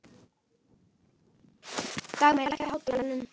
Dagmey, lækkaðu í hátalaranum.